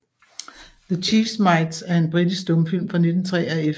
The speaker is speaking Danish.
The Cheese Mites er en britisk stumfilm fra 1903 af F